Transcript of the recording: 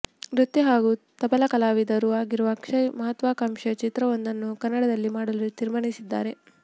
ನೃತ್ಯ ಹಾಗೂ ತಬಲಾ ಕಲಾವಿದರೂ ಅಗಿರುವ ಅಕ್ಷಯ್ ಮಹತ್ವಾಕಾಂಕ್ಷೆಯ ಚಿತ್ರವೊಂದನ್ನು ಕನ್ನ್ನಡದಲ್ಲಿ ಮಾಡಲು ತೀರ್ಮಾನಿಸಿದ್ದಾರೆ